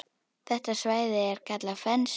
Þetta svæði er kallað Fens.